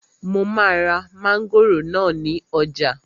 Mo máa ra mángòrò náà ní ọjà